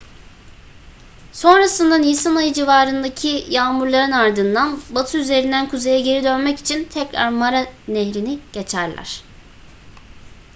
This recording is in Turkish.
sonrasında nisan ayı civarındaki yağmurların ardından batı üzerinden kuzeye geri dönmek için tekrar mara nehrini geçerler